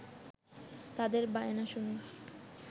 তাদের বায়না শুনে